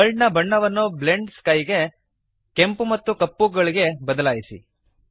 world ದ ಬಣ್ಣವನ್ನು blend sky ಗೆ ಕೆಂಪು ಮತ್ತು ಕಪ್ಪುಗಳಿಗೆ ಬದಲಾಯಿಸಿರಿ